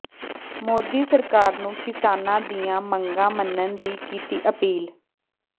ਮੋਦੀ ਸਰਕਾਰ ਨੂੰ ਕਿਸਾਨਾਂ ਦੀਆਂ ਮੰਗਾਂ ਮੰਨਣ ਦੀ ਕੀਤੀ ਅਪੀਲ